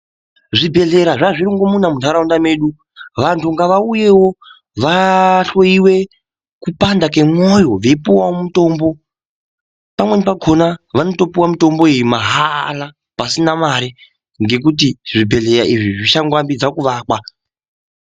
Zvibhedhlera zvazvirongomuna muntaraunda mwedu, vantu ngavauyewo vahloiwe kupanda kwemwoyo veipuwawo mutombo pamweni pakona vanotopiwa mitombo iyi mahaaala pasina mare ngekuti zvibhedhlera izvi zvichangoambidza kuakwa.